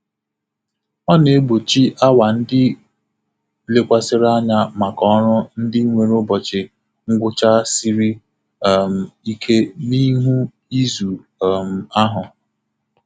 Ọ na-egbochi awa ndị lekwasịrị anya maka ọrụ ndị nwere ụbọchị ngwụcha siri um ike n'ihu izu um ahụ.